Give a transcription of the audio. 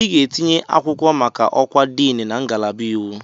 Ị ga-etinye akwụkwọ maka ọkwa Diini na ngalaba iwu!